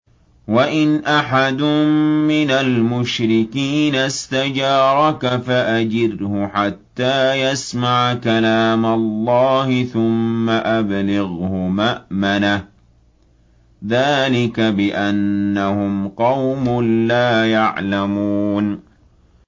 وَإِنْ أَحَدٌ مِّنَ الْمُشْرِكِينَ اسْتَجَارَكَ فَأَجِرْهُ حَتَّىٰ يَسْمَعَ كَلَامَ اللَّهِ ثُمَّ أَبْلِغْهُ مَأْمَنَهُ ۚ ذَٰلِكَ بِأَنَّهُمْ قَوْمٌ لَّا يَعْلَمُونَ